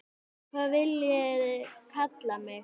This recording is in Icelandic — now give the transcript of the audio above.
Hvað viljiði kalla mig?